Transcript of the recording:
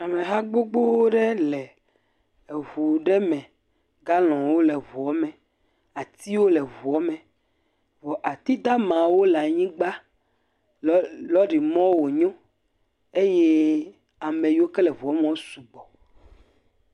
Ameha gbogbo aɖe le eŋu ɖe me, galɔnwo le eŋua me, atiwo le eŋu me, vɔ atidamawo le anyigba. Lɔrimɔ wonyo eye ame yie ke le eŋua me wo sugbɔ.